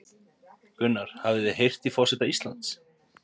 Gunnar: Hafið þið heyrt í forseta Íslands?